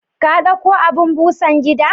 kadauko abun Busan gida?